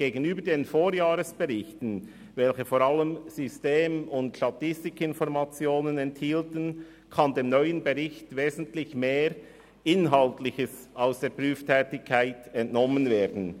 Gegenüber den Vorjahresberichten, welche vor allem System- und Statistikinformationen enthielten, kann dem neuen Bericht wesentlich mehr Inhaltliches aus der Prüftätigkeit entnommen werden.